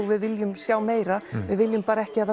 við viljum sjá meira við viljum bara ekki að